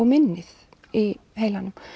minnið í heilanum